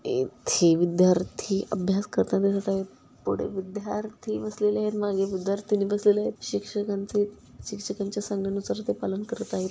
येथे विद्यार्थी अभ्यास करताना दिसत आहेत. पुढे विद्यार्थी बसलेलेत माघे विद्यार्थिनी बसलेल्यायेत. शिक्षकांचे शिक्षकांच्या सांगण्यानुसार ते पालन करत आहेत.